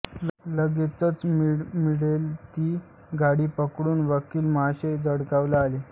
लगेच मिळेल ती गाडी पकडून वकील महाशय जळगावला आले